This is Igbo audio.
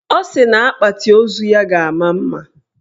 Ọ sị na akpati ozu ya ga-ama mma